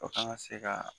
O kan ka se ka